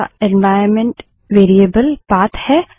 अगला environment variable path है